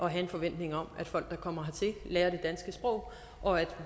at have en forventning om at folk der kommer hertil lærer det danske sprog og at